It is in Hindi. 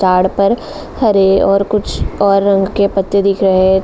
पर हरे और कुछ और रंग के पत्ते दिख रहे --